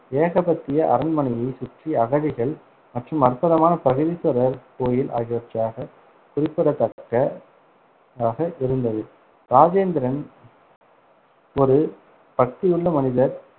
ஏகபத்திய அரண்மனையைச் சுற்றி அகழிகள் மற்றும் அற்புதமான பிரகதீஸ்வரர் கோயில் ஆகியவற்றாக குறிப்பிடத்தக்கதாக இருந்தது. ராஜேந்திரன் ஒரு பக்தியுள்ள மனிதர்